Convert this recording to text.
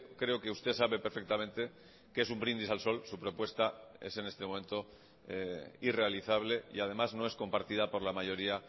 creo que usted sabe perfectamente que es un brindis al sol su propuesta es en este momento irrealizable y además no es compartida por la mayoría